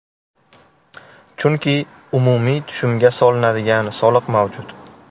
Chunki umumiy tushumga solinadigan soliq mavjud.